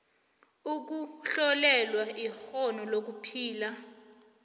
ukuhlolelwa ikghono lokuphila